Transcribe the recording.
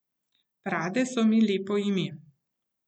Prade so mi lepo ime.